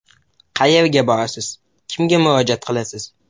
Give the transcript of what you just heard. Qayerga borasiz, kimga murojaat qilasiz?